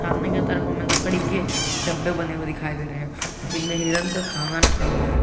सामने के तरफ हमे लकड़ी के डब्बे बने हुए दिखाई दे रहे हैं जिनमें हिरन का खाना रखा हुआ है।